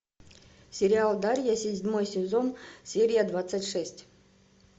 сериал дарья седьмой сезон серия двадцать шесть